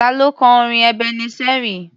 Ta ló kọ orin Ebeneseri?